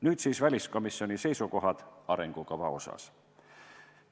Nüüd siis väliskomisjoni seisukohad arengukava osas.